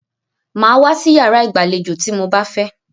Màá wá sí iyàrá ìgbàlejò tí mo bá fẹ́!